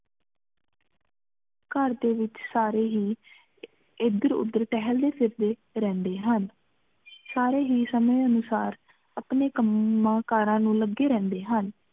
ਘਰ ਦੇ ਵਿਚ ਸਾਰੇ ਹੀ ਇਧੇਰ ਉਧਰ ਟਹਿਲਦੇ ਫਿਰਦੇ ਰਹਿੰਦੇ ਹਨ ਸਾਰੇ ਹੀ ਸੰਮੇ ਅਨੁਸਾਰ ਆਪਣਾ ਕੰਮਾ ਕਾਰਾਂ ਨੂੰ ਲਗੇ ਰਹਿੰਦੇ ਹਨ